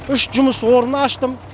үш жұмыс орнын аштым